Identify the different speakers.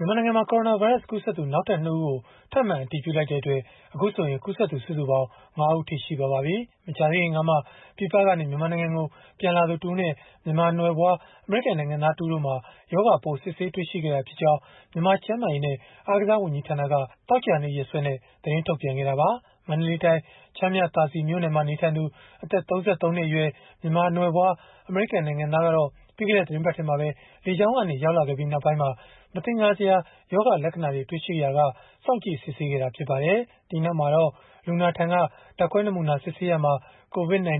Speaker 1: မြန်မာနိုင်ငံမှာ ကိုရိုနာဗိုင်းရပ်စ်ကူးစက်သူ နောက်ထပ် ၂ ဦးကို ထပ်မံအတည်ပြုလိုက်တဲ့အတွက် အခုဆိုရင် ကူးစက်သူ စုစုပေါင်း ၅ ဦး ရှိသွားပါပြီ။ မကြာခင်ကမှ ပြည်ပကနေ မြန်မာနိုင်ငံကို ပြန်လာသူတဦးနဲ့ မြန်မာနွယ်ဖွား အမေရိကန်နိုင်ငံသားတဦးတို့မှာ ရောဂါပိုး စစ်ဆေးတွေ့ရှိခဲ့တာဖြစ်ကြောင်း မြန်မာကျန်းမာရေးနဲ့ အားကစား ဝန်ကြီးဌာနက သောကြာနေ့ ရက်စွဲနဲ့ သတင်းထုတ်ပြန်ခဲ့တာပါ။ မန္တလေးတိုင်း ချမ်းမြသာစည်မြို့နယ်မှာ နေထိုင်သူ အသက် ၃၃ နှစ်အရွယ် မြန်မာနွယ်ဖွား အမေရိကန်နိုင်ငံသားကတော့ ပြီးခဲ့တဲ့ သီတင်းပတ်ထဲမှာပဲ လေကြောင်းကနေ ရောက်လာခဲ့ပြီး နောက်ပိုင်းမှာ မသင်္ကာစရာ ရောဂါလက္ခဏာတွေ တွေ့ရှိခဲ့ရာက စောင့်ကြည့်စစ်ဆေးခဲ့တာ ဖြစ်ပါတယ်။ ဒီနောက်မှာတော့ လူနာထံက ဓာတ်ခွဲနာမူနာယူ စစ်ဆေးရာမှာ COVID-19